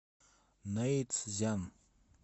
нэйцзян